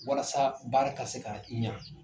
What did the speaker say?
Walasa baara ka se ka ɲɛ